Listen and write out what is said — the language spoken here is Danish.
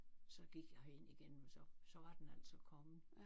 Så gik jeg herind igen men så så var den altså kommet